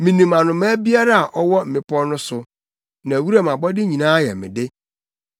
Minim anomaa biara a ɔwɔ mmepɔw no so, na wuram abɔde nyinaa yɛ me de.